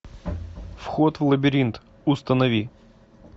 вход в лабиринт установи